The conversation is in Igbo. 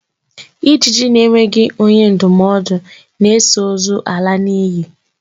Ijiji na-enweghi onye ndumodu na-eso ozu ala n'inyi